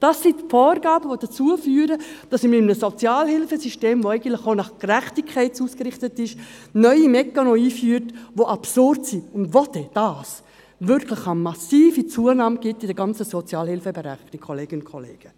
Das sind Vorgaben, die dazu führen, dass wir in einem Sozialhilfesystem, das eigentlich auf Gerechtigkeit ausgerichtet ist, neue Mechanismen einführen, die absurd sind, obwohl das wirklich eine massive Zunahme in der ganzen Sozialhilfeberechnung gibt, Kolleginnen und Kollegen.